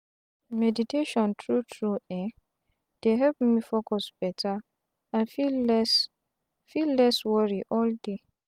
meditation tru tru um dey help me focus beta and feel less feel less wori all day.